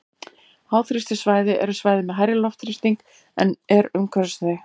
háþrýstisvæði eru svæði með hærri loftþrýsting en er umhverfis þau